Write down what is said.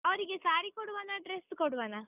ಅವ್ರಿಗೆ saree ಕೊಡುವನ, dress ಕೊಡುವನ?